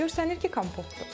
Görsənir ki, kompotdur.